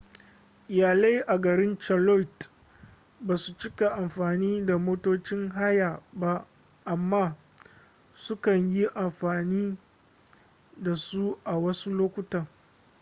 iyalai a garin charlotte ba su cika amfani da motocin haya ba amma su kan yi amfani da su a wasu lokutan